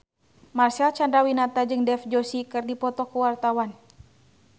Marcel Chandrawinata jeung Dev Joshi keur dipoto ku wartawan